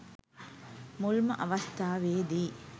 මුල්ම අවස්ථාවේදි